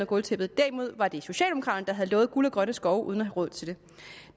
gulvtæppet derimod var det socialdemokraterne der havde lovet guld og grønne skove uden at have råd til det